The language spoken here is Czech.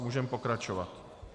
Můžeme pokračovat.